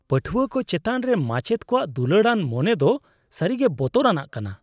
ᱯᱟᱹᱴᱷᱩᱣᱟᱹ ᱠᱚ ᱪᱮᱛᱟᱱ ᱨᱮ ᱢᱟᱪᱮᱫ ᱠᱚᱣᱟᱜ ᱫᱩᱞᱟᱹᱲᱟᱱ ᱢᱚᱱᱮ ᱫᱚ ᱥᱟᱹᱨᱤᱜᱮ ᱵᱚᱛᱚᱨᱟᱱᱟᱜ ᱠᱟᱱᱟ ᱾